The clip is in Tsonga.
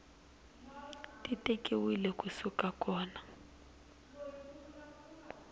ti tekiwile ku suka kona